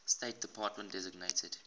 state department designated